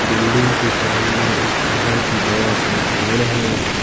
Building के सामने एक बहुत ही बड़ा सा पेड़ है।